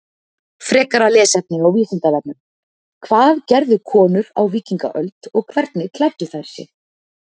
Frekara lesefni á Vísindavefnum: Hvað gerðu konur á víkingaöld og hvernig klæddu þær sig?